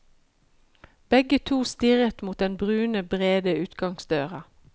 Begge to stirret mot den brune, brede utgangsdøra.